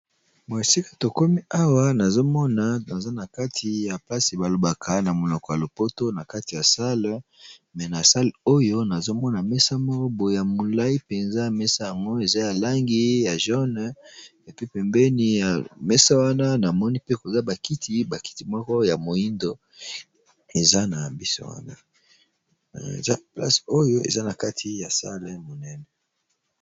Na esika tokomi awa nazomona naza na kati ya plase balobaka na monoko ya lopoto na kati ya sale me na sale oyo nazomona mesa moko boe ya molai mpenza mesa yango eza ya langi ya lilala epe pembeni ya mesa wana na moni pe koza bakiti na mesa ya molai nakati ya sale monene.